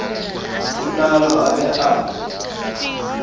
ho nalo a be a